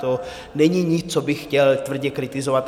To není nic, co bych chtěl tvrdě kritizovat.